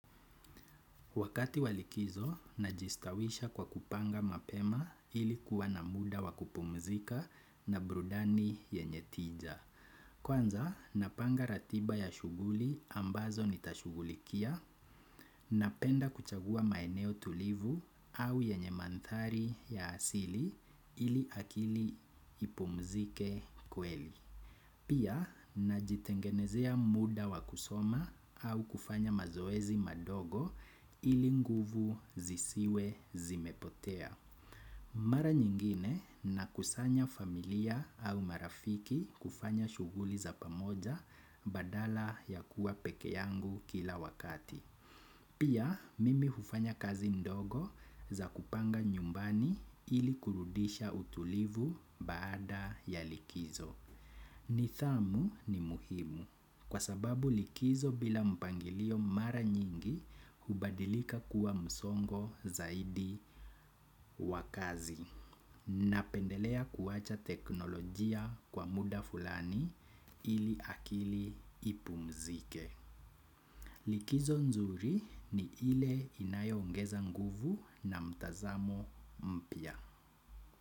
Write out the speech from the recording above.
Wakati wa likizo, najistawisha kwa kupanga mapema ili kuwa na muda wa kupumzika na burudani yenye tija. Kwanza, napanga ratiba ya shughuli ambazo nitashugulikia, napenda kuchagua maeneo tulivu au yenye mandhari ya asili ili akili ipumzike kweli. Pia najitengenezea muda wa kusoma au kufanya mazoezi madogo ili nguvu zisiwe zimepotea. Mara nyingine nakusanya familia au marafiki kufanya shughuli za pamoja badala ya kuwa peke yangu kila wakati. Pia, mimi hufanya kazi ndogo za kupanga nyumbani ili kurudisha utulivu baada ya likizo. Nidhamu ni muhimu, kwa sababu likizo bila mpangilio mara nyingi hubadilika kuwa msongo zaidi. Wa kazi. Napendelea kuwacha teknolojia kwa muda fulani ili akili ipumzike. Likizo nzuri ni ile inayoongeza nguvu na mtazamo mpya.